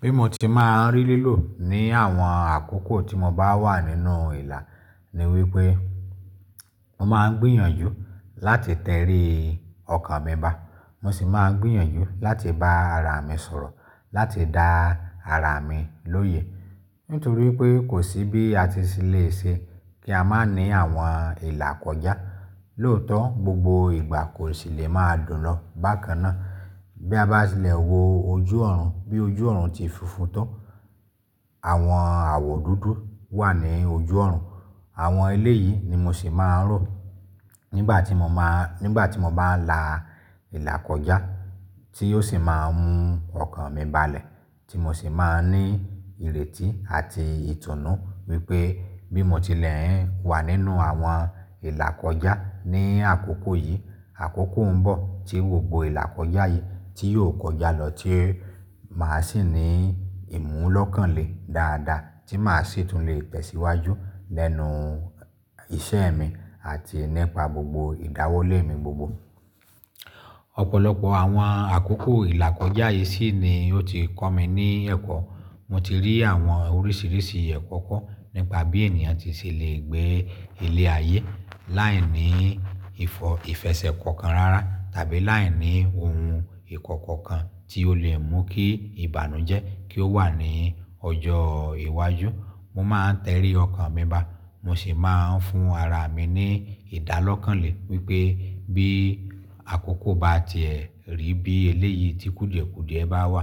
Bí mo ti máa ń rí lílò ní àwọn àkókò tí mo bá wà nínú ìlà ni wípé mo máa ń gbìyànjú láti tẹrí ọkàn mi bá, mo sì máa ń gbìyànjú láti bá ara mi sọ̀rọ̀, láti dá ara mi lóye. Nítorí pé kò sí bí a ti ṣe lè ṣe kí a má ní àwọn ìlà kọjá. Lóòótọ́ gbogbo ìgbà kò sì lè máa dùn lọ bákan náà. Bí a bá ti lè wo ojú ọ̀run, bí ojú ọ̀run ti funfun tán, àwọn àwọ̀ dúdú wà ní ojú ọ̀run. Àwọn eléyìí ni mo sì máa ń rò nígbà tí mo máa, nígbà tí mo bá ń la ìlà kọjá, tí yóò sì máa ń mú ọkàn mi balẹ̀. Tí mo sì máa ń ní ìrètí àti ìtùnú wípé bí mo ti lè ń wà nínú àwọn ìlà kọjá ní àkókò yìí, àkókò ń bọ̀ tí gbogbo ìlà kọjá yìí tí yóò kọjá lọ, tí màá sì ní ìmúlọ́kànlé dáadáa, tí màá sì tún lè tẹ̀síwájú lẹ́nu iṣẹ́ mi àti nípa gbogbo ìdáwólé mi gbogbo. Ọ̀pọ̀lọpọ̀ àwọn àkókò ìlà kọjá yìí sì ni ó ti kọ́ mi ní ẹ̀kọ́. Mo ti rí àwọn oríṣiríṣi ẹ̀kọ́ kọ́ nípa bí ènìyàn ti ṣe lè gbé ilẹ̀ ayé láì ní ìfọ̀, ìfẹsẹ̀ kankan rárá tàbí láì ní ohun ìkọ́kọ̀ kan tí ó lè mú kí ìbànújẹ́ kí ó wà ní ọjọ́ iwájú. Mo máa ń tẹrí ọkàn mi bá, mo sì máa ń fún ara mi ní ìdálọ́kànlé wípé bí àkókò bá ti ẹ̀ rí bí eléyìí tí kùdìẹ́kùdìẹ́ bá wà,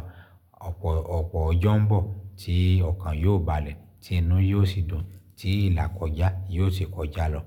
ọ̀pọ̀ ọjọ́ ń bọ̀ tí ọkàn yóò balẹ̀, tí inú yóò sì dùn, tí ìlà kọjá yóò sì kọjá lọ.